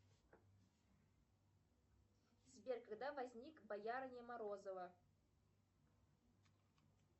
сбер когда возник боярыня морозова